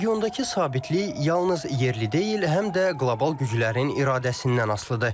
Regiondakı sabitlik yalnız yerli deyil, həm də qlobal güclərin iradəsindən asılıdır.